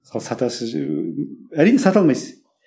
сатасыз ыыы әрине сата алмайсыз